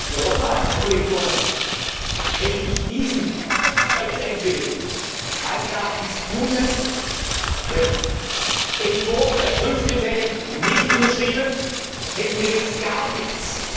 Nur nochmals, Herr Kollege Turmes Hätte ich diesen weiterentwickelten, meines Erachtens guten Entwurf der Prüfkriterien nicht unterschrieben, hätten wir jetzt gar nichts.